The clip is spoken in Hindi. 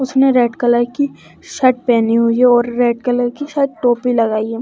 उसने रेड कलर की शर्ट पहनी हुई है और रेड कलर की शायद टोपी लगाई है।